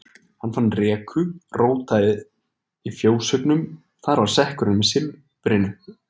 Hann fann reku og rótaði í fjóshaugnum, þar var sekkurinn með silfrinu.